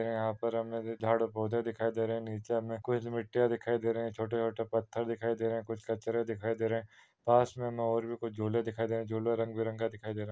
यहा पर हमे झाड़ और पौधे दिखाई दे रहे है। निचे हमे कुछ मिटी दिखाई दे रही है। छोटे-छोटे पत्थर दिखाई दे रहे है कुछ पत्थर दिखाई दे रहे है और पासमे हमे झुले दिखाई दे रहे है। झुले रंगबेरंगी दिखाई दे रहे है।